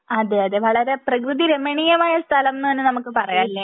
അതെ അതെ വളരെ പ്രകൃതി രമണീയമായ സ്ഥലം എന്ന് തന്നെ നമുക്ക് പറയാം അല്ലെ